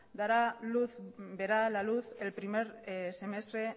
verá la luz el primer semestre